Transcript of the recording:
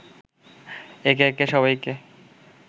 একে একে সবাইকে